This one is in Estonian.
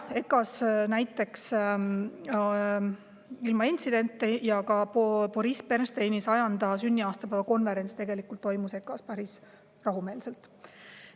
Näiteks Boris Bernsteini 100. sünniaastapäeva konverents toimus EKA-s päris rahumeelselt.